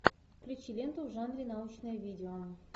включи ленту в жанре научное видео